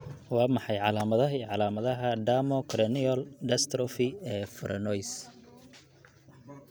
Waa maxay calaamadaha iyo calaamadaha Dermochondrocorneal dystrophy ee Franois?